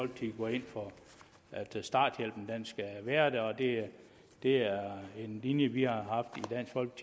ind for at starthjælpen skal være der det er er en linje vi har haft